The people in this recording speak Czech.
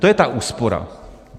To je ta úspora.